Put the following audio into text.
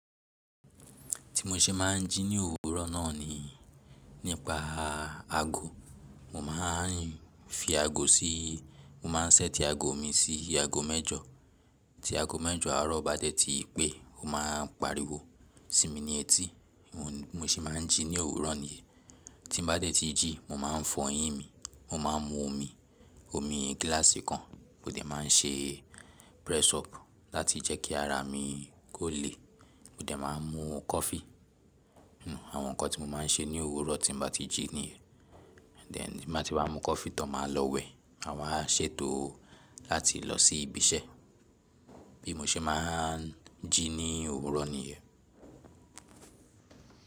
Tí mo ṣe máa ń jí ní òwúrọ̀ náà ni, nípa aago. Mo máa ń fi aago sí, mo máa ń set aago mi sí aago mẹ́jọ. Tí aago mẹ́jọ àárọ̀ bá dé tí pé, o máa ń pariwo sí mi ní etí. Mo ṣe máa ń jí ní òwúrọ̀ niyii Tí n bá dé tí jí mo máa ń fọ eyin mi, mo máa ń mú omi, omi gíláàsì kan. Mo dẹ̀ máa ń ṣe press up láti jẹ́ kí ara mi kó le. Mo dẹ̀ máa ń mú kọfí. Àwọn nǹkan tí mo máa ń ṣe ní òwúrọ̀ tí n bá ti jí nìyẹn. Then tí n bá ti wá mú kọfí tán máa lọ wẹ̀. Maa wa ṣètò láti lọ sí ibi iṣẹ́. Bí mo ṣe máa ń jí ní òwúrọ̀ nìyẹn.